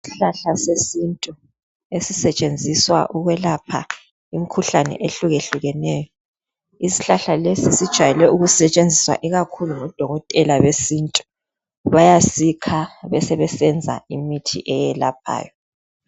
Isihlahla sesintu esisetshenziswa ukwelapha imikhuhlane ehlukehlukeneyo. Isihlahla lesi sijwayele ukusetshenziswa ikakhulu ngodokotela besintu. Bayasikha besebesenza imithi eyelaphayo.